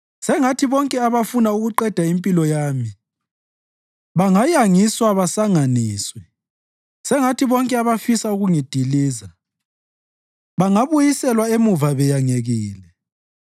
Sengathi bonke abafuna ukuqeda impilo yami bangayangiswa basanganiswe; sengathi bonke abafisa ukungidiliza bangabuyiselwa emuva beyangekile.